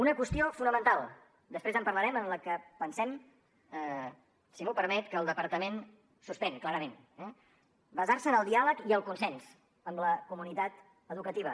una qüestió fonamental després en parlarem en la que pensem si m’ho permet que el departament suspèn clarament eh basar se en el diàleg i el consens amb la comunitat educativa